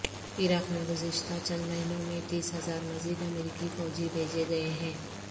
عراق میں گزشتہ چند مہینوں میں تیس ہزار مزید امریکی فوجی بھیجے گئے ہیں